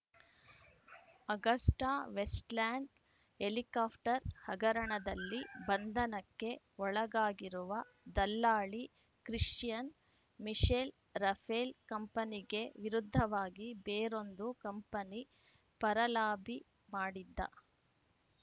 AgustaWestland helicopter ಹಗರಣದಲ್ಲಿ ಬಂಧನಕ್ಕೆ ಒಳಗಾಗಿರುವ ದಲ್ಲಾಳಿ ಕ್ರಿಸ್ಟಿಯನ್‌ ಮಿಶೆಲ್‌ ರಫೇಲ್‌ ಕಂಪನಿಗೆ ವಿರುದ್ಧವಾಗಿ ಬೇರೊಂದು ಕಂಪನಿ ಪರ ಲಾಬಿ ಮಾಡಿದ್ದ